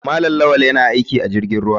Malam lawal yana aiki a jirgin ruwa.